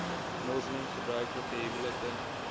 moslem gebruiklike huwelike